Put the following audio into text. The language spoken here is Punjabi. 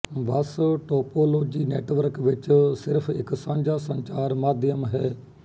ਬੱਸ ਟੋਪੋਲੌਜੀ ਨੈੱਟਵਰਕ ਵਿੱਚ ਸਿਰਫ਼ ਇੱਕ ਸਾਂਝਾ ਸੰਚਾਰ ਮਾਧਿਅਮ ਹੈ